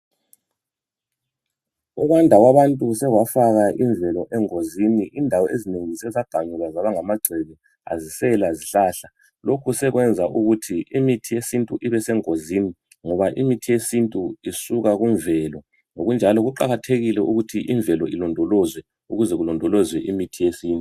Ukwanda kwabantu sekwafaka imvelo engozini, indawo ezinengi sezaganyulwa zaba ngamagceke, azisela zihlahla. Lokhu sekwenza ukuthi imithi yesintu ibesengozini, ngoba imithi yesintu isuka kumvelo. Ngokunjalo kuqakathekile ukuthi imvelo ilondolozwe, ukuze kulondolozwe imithi yesintu.